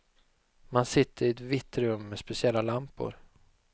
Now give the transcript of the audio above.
Man sitter i ett vitt rum med speciella lampor.